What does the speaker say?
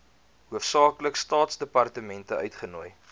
hoofsaaklik staatsdepartemente uitgenooi